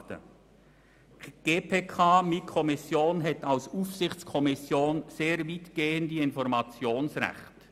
Die GPK hat als Aufsichtskommission sehr weitgehende Informationsrechte.